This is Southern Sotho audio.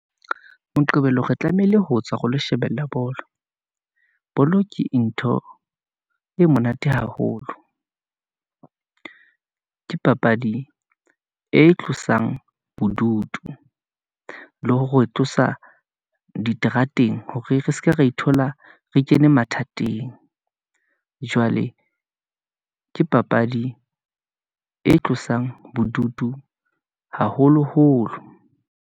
Moqebelo re tlamehile ho tswa ho lo shebella bolo . Bolo ke ntho e monate haholo , ke papadi e tlosang bodutu, le hore tlosa diterateng, hore re seke ra ithola re kene mathateng . Jwale ke papadi e tlosang bodutu haholoholo.